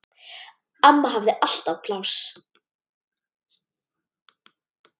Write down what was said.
Amma hafði alltaf pláss.